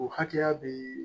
O hakɛya bɛ